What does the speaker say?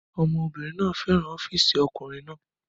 Ọmọbìnrin náà fẹ́ràn ọ́fíìsì ọkùnrin náà